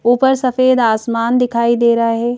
ऊपर सफेद आसमान दिखाई दे रहा है।